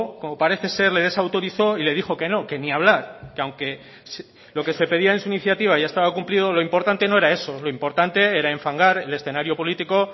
como parece ser le desautorizó y le dijo que no que ni hablar que aunque lo que se pedía en su iniciativa ya estaba cumplido lo importante no era eso lo importante era enfangar el escenario político